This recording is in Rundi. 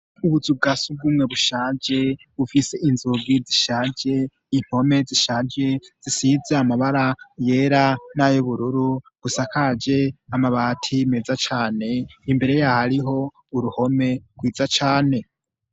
Ubuzu ubgasi bw'umwe bushaje bufise inzogi zishaje impome zishaje zisize amabara yera n'ayo bururu gusa kaje amabati meza cane imbere yaho ariho uruhome rwiza cane.